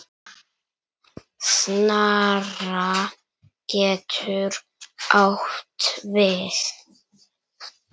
Snara getur átt við